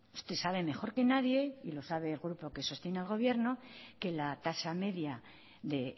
usted sabe mejor que nadie y lo sabe el grupo que sostiene el gobierno que la tasa media de